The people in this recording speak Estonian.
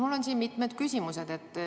Mul on mitu küsimust.